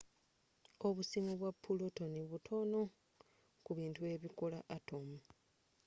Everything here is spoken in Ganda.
obusimu bwa pulotoni butono ku bintu ebikola atomu